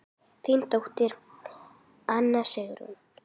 Þín dóttir, Anna Sigrún.